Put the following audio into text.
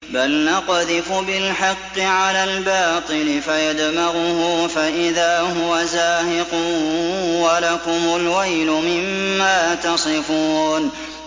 بَلْ نَقْذِفُ بِالْحَقِّ عَلَى الْبَاطِلِ فَيَدْمَغُهُ فَإِذَا هُوَ زَاهِقٌ ۚ وَلَكُمُ الْوَيْلُ مِمَّا تَصِفُونَ